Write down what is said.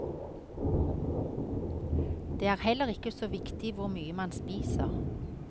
Det er heller ikke så viktig hvor mye man spiser.